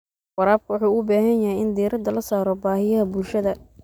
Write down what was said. Waraabka wuxuu u baahan yahay in diiradda la saaro baahiyaha bulshada.